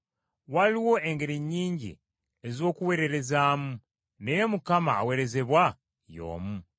Waliwo engeri nnyingi ez’okuweererezaamu, naye Mukama aweerezebwa y’omu.